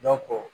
Dɔnko